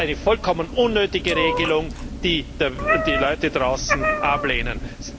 Das ist eine vollkommen unnötige Regelung, die die Leute draußen ablehnen.